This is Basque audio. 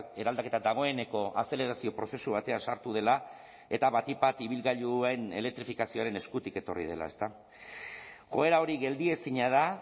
eraldaketa dagoeneko azelerazio prozesu batean sartu dela eta batik bat ibilgailuen elektrifikazioaren eskutik etorri dela joera hori geldiezina da